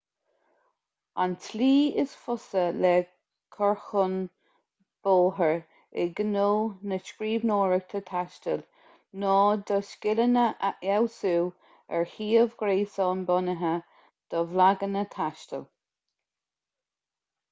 an tslí is fusa le cur chun bóthair i ngnó na scríbhneoireachta taistil ná do scileanna a fheabhsú ar shuíomh gréasáin bunaithe do bhlaganna taistil